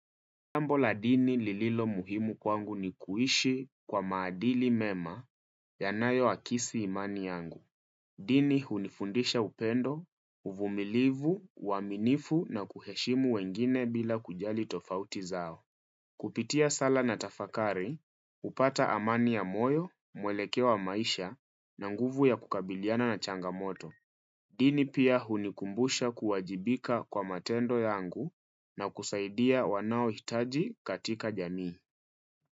Jambo la dini lililo muhimu kwangu ni kuishi kwa maadili mema ya nayo akisi imani yangu. Dini hunifundisha upendo, uvumilivu, uaminifu na kuheshimu wengine bila kujali tofauti zao. Kupitia sala na tafakari, hupata amani ya moyo, muelekeo wa maisha na nguvu ya kukabiliana na changamoto. Dini pia hunikumbusha kuwajibika kwa matendo yangu na kusaidia wanao hitaji katika jamii.